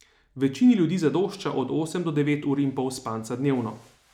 Večini ljudi zadošča od osem do devet ur in pol spanca dnevno.